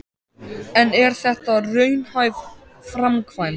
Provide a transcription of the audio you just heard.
En er þetta raunhæf framkvæmd?